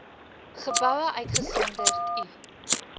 geboue uitgesonderd u